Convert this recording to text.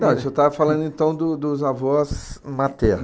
Não, o senhor estava falando, então, do, dos avós maternos.